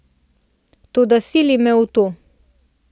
Toda sili me v to.